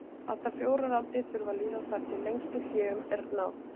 allt að fjórar aldir þurfa að líða þar til lengstu hléunum er náð